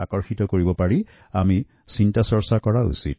এই ভাবনাৰেআমি অনাগত সময়ত কি কি পদক্ষেপ লব পাৰো সেয়া চিন্তা কৰা দৰকাৰ